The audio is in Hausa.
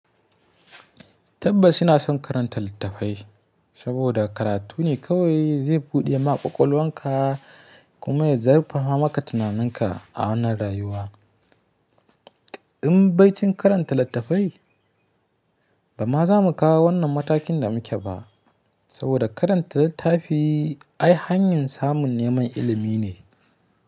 Tabbas ina son karanta littafai saboda karatu ne kawai zai buɗe maƙwaƙwalwanka kuma ya zurfafamaka tunaninka a wannan rayuwa. In bai cin karanta littafai, ba ma za mu kawo wannan matakin da muke ba saboda karanta littafi ai hanyar samun neman ilimi ne.